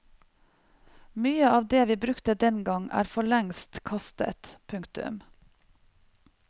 Mye av det vi brukte den gang er for lengst kastet. punktum